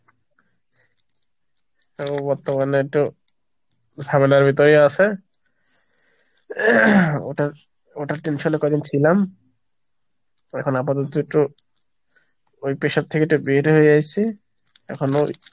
তো বর্তমানে একটু ঝামেলার ভিতরেই আছে ওটার ওটা tension এ কদিন ছিলাম এখন আপাতত একটু ওই pressure থেকে এটা বের হয়ে এসছি এখনো,